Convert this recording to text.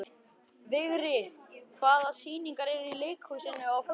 Vigri, hvaða sýningar eru í leikhúsinu á föstudaginn?